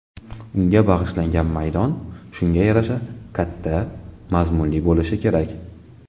Unga bag‘ishlangan maydon shunga yarasha katta, mazmunli bo‘lishi kerak.